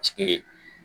Sigi